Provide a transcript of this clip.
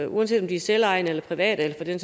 uanset om de er selvejende eller private eller for den